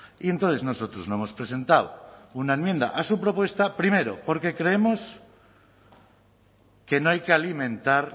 y entonces nosotros no hemos presentado una enmienda a su propuesta primero porque creemos que no hay que alimentar